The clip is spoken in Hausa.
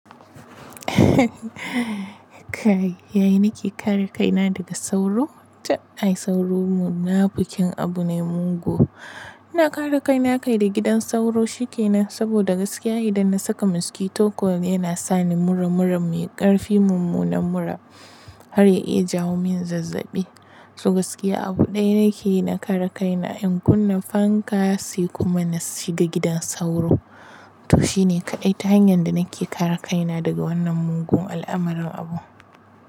Kai, yaya nake kare kaina daga sauro? To ai sauro muna fukin abu ne mugu. Ina kare kaina kai da gidan sauro shikenan saboda gaskiya idan na saka mosquito coil yana sani mura mura mai ƙarfi mummunan mura har ya iya jawo min zazzabi. So gaskiya abu ɗaya nake yi na kare kaina in kunna fan ka sai kuma na shiga gidan sauro. To shine kaɗai ta hanyar da nake kare kaina daga wannan mugun al'amuran abu.